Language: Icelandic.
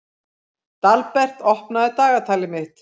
Dalbert, opnaðu dagatalið mitt.